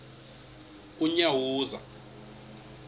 unyawuza